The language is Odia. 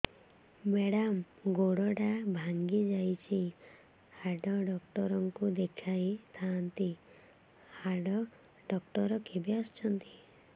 ମେଡ଼ାମ ଗୋଡ ଟା ଭାଙ୍ଗି ଯାଇଛି ହାଡ ଡକ୍ଟର ଙ୍କୁ ଦେଖାଇ ଥାଆନ୍ତି ହାଡ ଡକ୍ଟର କେବେ ଆସୁଛନ୍ତି